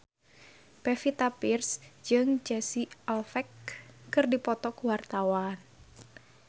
Pevita Pearce jeung Casey Affleck keur dipoto ku wartawan